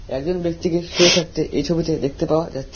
একজন ব্যক্তিকে শুয়ে থাকতে এই ছবিতে দেখতে পাওয়া যাচ্ছে।